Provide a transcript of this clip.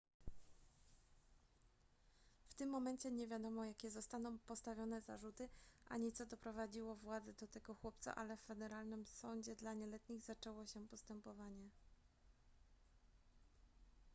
w tym momencie nie wiadomo jakie zostaną postawione zarzuty ani co doprowadziło władze do tego chłopca ale w federalnym sądzie dla nieletnich zaczęło się postępowanie